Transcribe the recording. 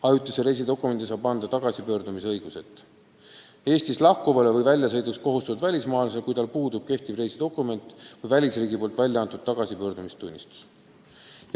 Ajutise reisidokumendi saab anda tagasipöördumise õiguseta Eestist lahkuvale või väljasõiduks kohustatud välismaalasele, kui tal puudub kehtiv reisidokument või välisriigi poolt väljaantud tagasipöördumistunnistus.